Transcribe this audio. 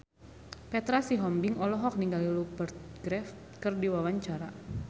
Petra Sihombing olohok ningali Rupert Graves keur diwawancara